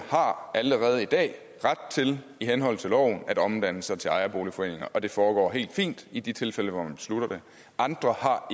allerede i dag har ret til i henhold til loven at omdanne sig til ejerboligforeninger og det foregår helt fint i de tilfælde hvor man beslutter det andre har